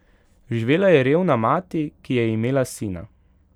Živela je revna mati, ki je imela sina.